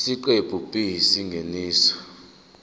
isiqephu b isingeniso